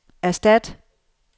erstat